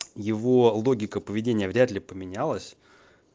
его логика поведения вряд ли поменялась